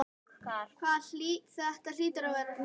Þetta hlýtur að vera hraun.